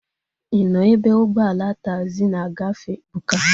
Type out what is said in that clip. Ị nọ ebe ụgbọala taagzi na-agafe? Ebuka